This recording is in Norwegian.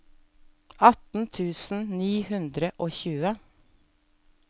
atten tusen ni hundre og tjue